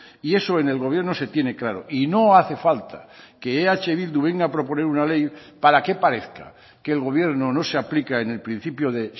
y eso en el gobierno se tiene claro y no hace falta que eh bildu venga a proponer una ley para que parezca que el gobierno no se aplica en el principio de